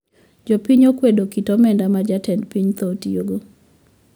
Jopiny okwedo kit omenda ma jatend piny thoro tiyo godo